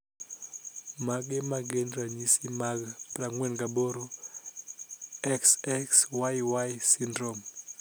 Mage magin ranyisi mag 48,XXYY syndrome?